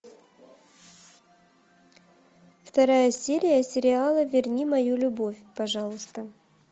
вторая серия сериала верни мою любовь пожалуйста